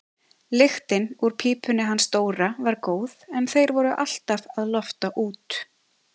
Lyktin úr pípunni hans Dóra var góð en þeir voru alltaf að lofta út.